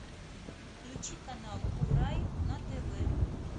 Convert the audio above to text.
включи канал курай на тв